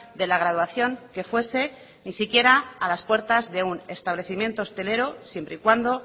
de la graduación que fuese ni siquiera a las puertas de un establecimiento hostelero siempre y cuando